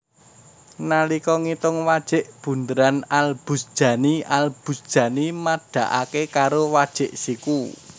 Nalika ngitung wajik bundheran Al Buzjani Al Buzjani madhaake karo wajik siku